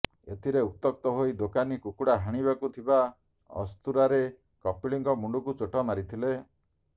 ଏଥିରେ ଉତ୍ତ୍ୟକ୍ତ ହୋଇ ଦୋକାନୀ କୁକୁଡ଼ା ହାଣିବାକୁ ଥିବା ଅସ୍ତୁରାରେ କପିଳଙ୍କ ମୁଣ୍ଡକୁ ଚୋଟ ମାରିଥିଲେ